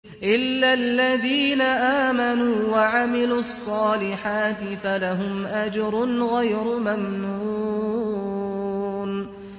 إِلَّا الَّذِينَ آمَنُوا وَعَمِلُوا الصَّالِحَاتِ فَلَهُمْ أَجْرٌ غَيْرُ مَمْنُونٍ